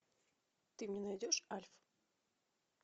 ты мне найдешь альф